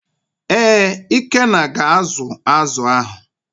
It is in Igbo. ee, ikenna ga azu azu ahụ.